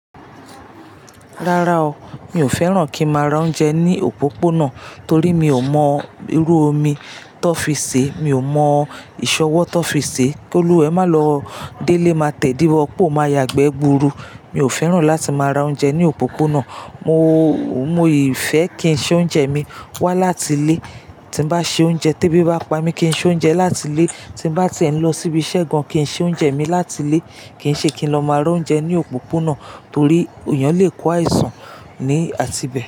Rárá o, mi ò fẹ́ràn kí ń máa ra oúnjẹ ní òpópónà torí mi ò mọ irú omi tó fi sè, mi ò mọ ìṣọ́wọ́ tó fi sè. Kí oluwa e má lọ délé, má tẹ́di wo po, má yàgbẹ́ gburu. Mi ò fẹ́ràn láti má ra oúnjẹ ní òpópónà. Mo, mo ì fẹ́ kí ń ṣe oúnjẹ mi wá láti ilé. Tí bá ṣe oúnjẹ, tébi bá pa mí, kí ń ṣe oúnjẹ láti ilé. Tí bá ti ẹ̀ ń lọ síbi iṣẹ́ gan kí ń ṣe oúnjẹ mi láti ilé. Kì í ṣe kí ń lọ má ra oúnjẹ ní òpópónà torí èèyàn lè kó àìsàn ní àti bẹ̀